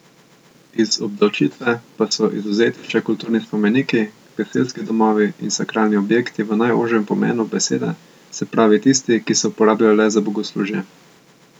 Iz obdavčitve pa so izvzeti še kulturni spomeniki, gasilski domovi in sakralni objekti v najožjem pomenu besede, se pravi tisti, ki se uporabljajo le za bogoslužje.